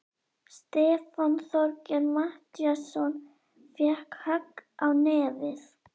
Stefán Þorgeir Matthíasson fékk högg á nefið.